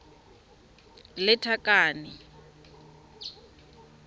lethakane